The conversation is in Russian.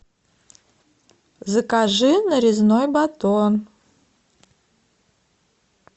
закажи нарезной батон